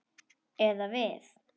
Eða við.